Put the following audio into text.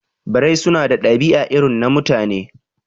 Birai su na ɗabi'a irin na Mutane